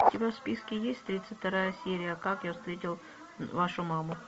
у тебя в списке есть тридцать вторая серия как я встретил вашу маму